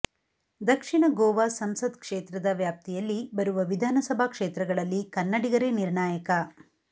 ದಕ್ಷಿಣ ಗೋವಾ ಸಂಸತ್ ಕ್ಷೇತ್ರದ ವ್ಯಾಪ್ತಿಯಲ್ಲಿ ಬರುವ ವಿಧಾನಸಭಾ ಕ್ಷೇತ್ರಗಳಲ್ಲಿ ಕನ್ನಡಿಗರೇ ನಿರ್ಣಾಯಕ